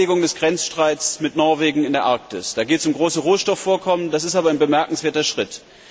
Die Beilegung des Grenzstreits mit Norwegen in der Arktis da geht es um große Rohstoffvorkommen ist ein bemerkenswerter Schritt.